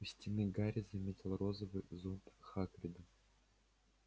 у стены гарри заметил розовый зонт хагрида